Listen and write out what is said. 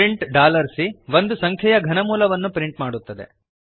print C ಒಂದು ಸಂಖ್ಯೆಯ ಘನಮೂಲವನ್ನು ಪ್ರಿಂಟ್ ಮಾಡುತ್ತದೆ